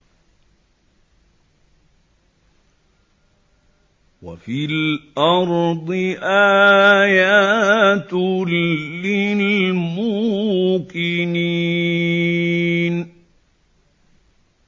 وَفِي الْأَرْضِ آيَاتٌ لِّلْمُوقِنِينَ